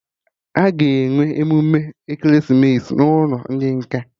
Aga enwe emume ekeresimesi n'ụlọ ndị nkà